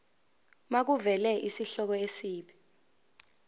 makuvele isihloko isib